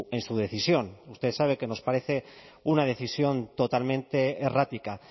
en su decisión usted sabe que nos parece una decisión totalmente errática